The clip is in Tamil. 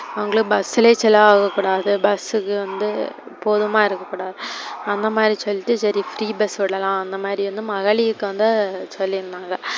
அவங்கள bus லே கூடாது bus கு வந்து போதுமா இருக்க கூடாது அந்த மாதிரி சொல்லிட்டு, செரி free bus விடலாம் அந்த மாறி வந்து மகளீர்க்கு வந்து சொல்லி இருந்தாங்க.